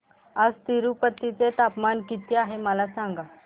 आज तिरूपती चे तापमान किती आहे मला सांगा